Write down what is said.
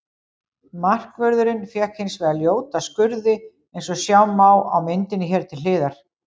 Markvörðurinn fékk hins vegar ljóta skurði eins og sjá má á myndinni hér til hliðar.